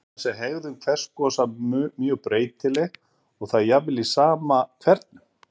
Annars er hegðun hveragosa mjög breytileg og það jafnvel í sama hvernum.